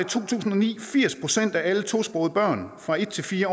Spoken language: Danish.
to tusind og ni firs procent af alle tosprogede børn fra en til fire